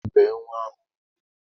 Bee nnwa ahụ ugwu!